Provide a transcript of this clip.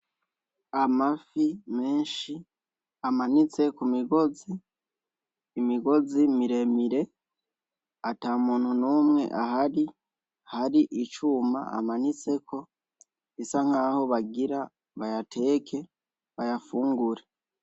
Amafi menshi amanitse ku migozi, imigozi mire mire ata muntu n'umwe ahari, hari icuma amanitseko bisa nkaho bagira bayateke, bayafungure.